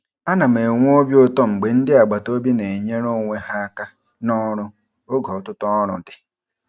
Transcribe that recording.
Ana m enwe obi ụtọ mgbe ndị agbataobi na-enyere onwe ha aka n'ọrụ oge ọtụtụ ọrụ dị.